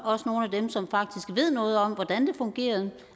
også nogle af dem som faktisk ved noget om hvordan det fungerer